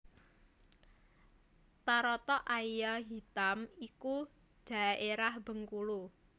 Taratak Aia Hitam iku dhaérah Bengkulu